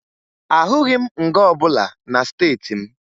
Ahụghị m nga ọbụla na steeti m